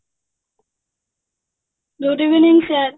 good evening sir